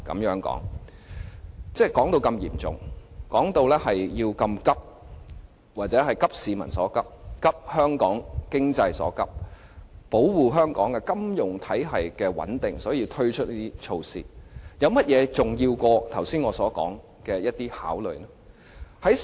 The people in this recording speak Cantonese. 政府把問題說得如此嚴重和迫切，因此應"急市民所急"、"急香港經濟所急"、為保護香港金融體系穩定而要推出"加辣"措施，有甚麼比我剛才所說的那些考慮因素更重要呢？